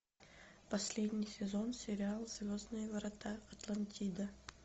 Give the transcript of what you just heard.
последний сезон сериал звездные врата атлантида